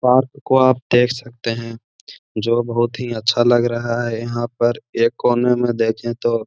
Park को आप देख सकते हैं बहोत ही अच्छा लग रहा है। यहाँ पर एक कोने में देखे तो --